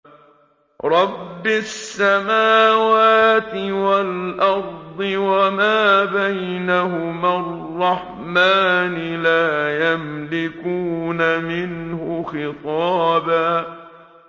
رَّبِّ السَّمَاوَاتِ وَالْأَرْضِ وَمَا بَيْنَهُمَا الرَّحْمَٰنِ ۖ لَا يَمْلِكُونَ مِنْهُ خِطَابًا